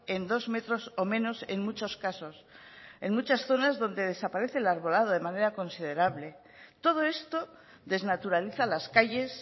en dos metros o menos en muchos casos en muchas zonas donde desaparece el arbolado de manera considerable todo esto desnaturaliza las calles